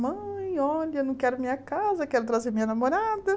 Mãe, olha, não quero minha casa, quero trazer minha namorada.